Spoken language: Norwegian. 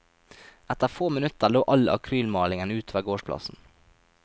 Etter få minutter lå all akrylmalingen ut over gårdsplassen.